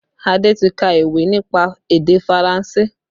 Adé ti ka ìwé nípa èdè Faranse